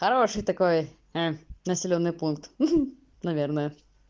хороший такой населённый пункт ха-ха наверное